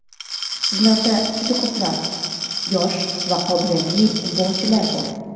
Sizlarda juda ko‘plab yosh va qobiliyatli futbolchilar bor.